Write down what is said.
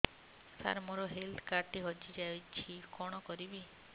ସାର ମୋର health card ଟି ହଜି ଯାଇଛି କଣ କରିବି